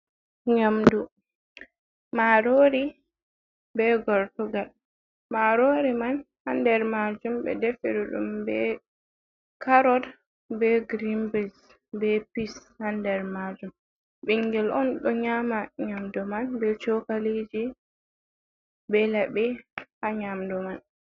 Nyamdu, Marori be Gortugal. Marori man ha nder majum ɓe deferi ɗum be karot be Girin bins be Pis ha nder majum. Ɓingel'on ɗo nyama Nyamdu man be Shokalije be laɓe ha Nyamdu man.